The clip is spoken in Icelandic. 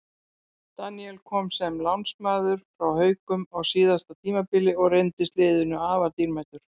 Daníel kom sem lánsmaður frá Haukum á síðasta tímabili og reyndist liðinu afar dýrmætur.